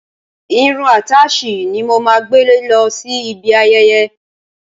Irun àtáàsì ni màá gbé lọ sí ibi ayẹyẹ.